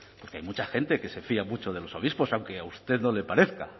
porque hay mucha gente que se fía mucho de los obispos aunque a usted no le parezca